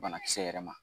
Banakisɛ yɛrɛ ma